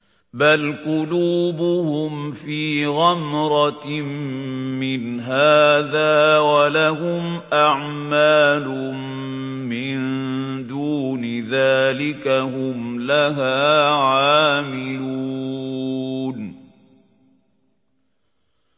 بَلْ قُلُوبُهُمْ فِي غَمْرَةٍ مِّنْ هَٰذَا وَلَهُمْ أَعْمَالٌ مِّن دُونِ ذَٰلِكَ هُمْ لَهَا عَامِلُونَ